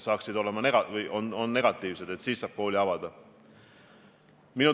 Küsisin Tallinna Ülikooli rektori härra Landi käest, kuidas nad plaanivad oma ülikoolis juhtunule reageerida.